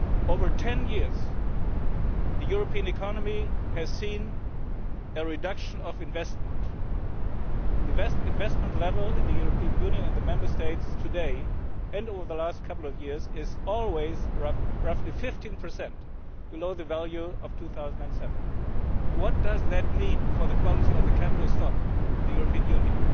Over ten years, the European economy has seen a reduction in investment. The investment level in the European Union and the Member States, today and over the last couple of years, is constantly some 15 below the value of 2007. What does that mean for the quality of the capital stock in the European